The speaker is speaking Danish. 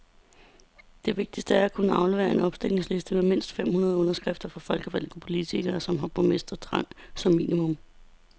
Det vigtigste er at kunne aflevere en opstillingsliste med mindst fem hundrede underskrifter fra folkevalgte politikere, som har borgmesterrang som minimum.